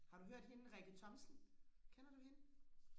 har du hørt hende Rikke Thomsen kender du hende